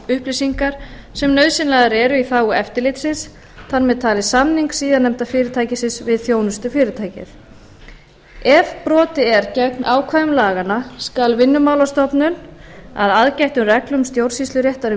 upplýsingar sem nauðsynlegar eru í þágu eftirlitsins þar með talin samning síðarnefnda fyrirtækisins við þjónustufyrirtækið ef brotið er gegn ákvæðum laganna skal vinnumálastofnun að aðgættum reglum stjórnsýsluréttar um